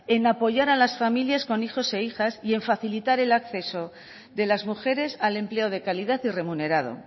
en apoyar a las familias con hijos e hijas y en facilitar el acceso de las mujeres al empleo de calidad y remunerado